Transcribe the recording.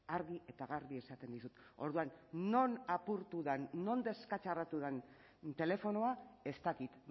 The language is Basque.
argi eta garbi esaten dizut orduan non apurtu den non deskatxarratu den telefonoa ez dakit